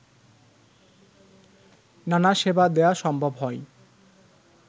নানা সেবা দেয়া সম্ভব হয়